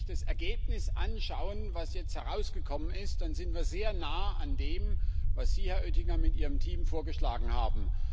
Wenn wir nämlich das Ergebnis anschauen, was jetzt herausgekommen ist, dann sind wir sehr nah an dem, was Sie, Herr Oettinger, mit Ihrem Team vorgeschlagen haben.